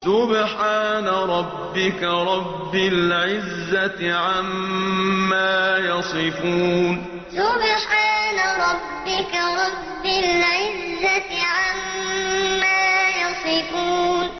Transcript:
سُبْحَانَ رَبِّكَ رَبِّ الْعِزَّةِ عَمَّا يَصِفُونَ سُبْحَانَ رَبِّكَ رَبِّ الْعِزَّةِ عَمَّا يَصِفُونَ